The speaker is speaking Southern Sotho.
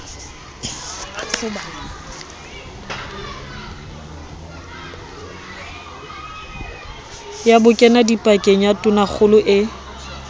ya bokenadipakeng ya tonakgolo e